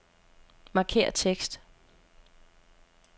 Markér tekst.